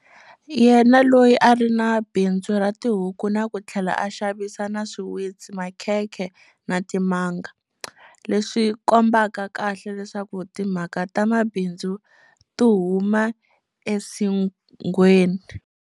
Yena loyi a ri na bindzu ra tihuku na ku tlhela a xavisa na swiwitsi, makhekhe na timanga- leswi kombaka kahle leswaku timhaka ta mabindzu ti huma esinghweni.